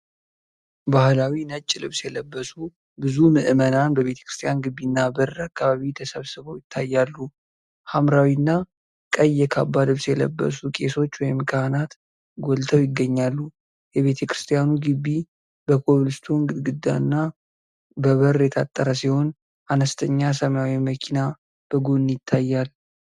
ባህላዊ ነጭ ልብስ የለበሱ ብዙ ምዕመናን በቤተክርስቲያን ግቢና በር አካባቢ ተሰብስበው ይታያሉ። ሐምራዊ እና ቀይ የካባ ልብስ የለበሱ ቄሶች ወይም ካህናት ጎልተው ይገኛሉ። የቤተክርስቲያኑ ግቢ በኮብልስቶን ግድግዳና በበር የታጠረ ሲሆን፣ አነስተኛ ሰማያዊ መኪና በጎን ይታያል።